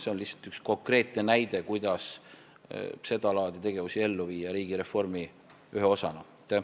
See on lihtsalt üks konkreetne näide, kuidas seda laadi tegevusi riigireformi ühe osana ellu viia.